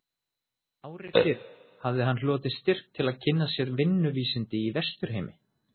Ári fyrr hafði hann hlotið styrk til að kynna sér vinnuvísindi í Vesturheimi.